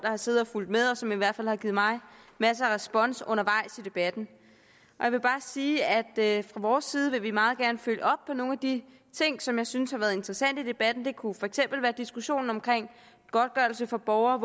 har siddet og fulgt med og som i hvert fald har givet mig masser af respons undervejs i debatten jeg vil bare sige at fra vores side vil vi meget gerne følge op på nogle af de ting som vi synes har været interessant i debatten det kunne for eksempel være diskussionen omkring godtgørelse for borgere